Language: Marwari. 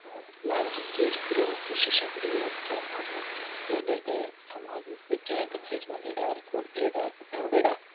और लाल रंग और पीले रंग की शीशियां पड़ी है चार पांच भांत की टैबलेट है सामने आदमी बैठ्या है कंपेच बान्धेड़ा कोट पहेरेडा टोपियां ओढेडा।